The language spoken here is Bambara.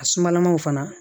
A sumalamaw fana